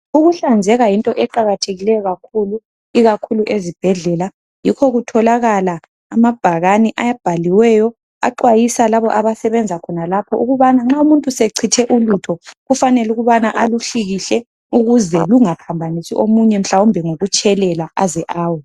Ukuhlanzeka yinto eqakathekileyo kakhulu ikakhulu ezibhedlela yikho kutholakala amabhakane abhaliweyo axwayisa labo abasebenza khonalapho ukubana nxa umuntu sechithe ulutho kufanele ukubana aluhlikihle ukuze lungaphambanisi omunye mhlawumbe ngokutshelela aze awe.